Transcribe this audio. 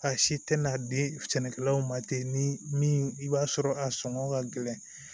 A si tɛ na di sɛnɛkɛlaw ma ten ni min i b'a sɔrɔ a sɔngɔ ka gɛlɛn